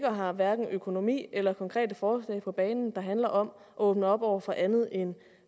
har hverken økonomi eller konkrete forslag på banen der handler om at åbne op over for andet end